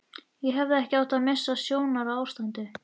Ég hefði átt að missa sjónar á ástinni.